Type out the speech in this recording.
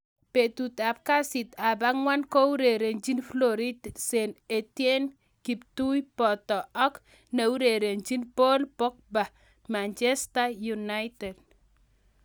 Betut ab kasit ab agwan kourerenjin Florentin St Etienne kiptui botoi ak neurerenjin Paul Pogba Manchester united